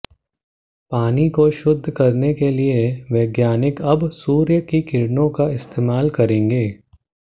पानी को शुद्ध करने के लिए वैज्ञानिक अब सूर्य की किरणों का इस्तेमाल करेंगे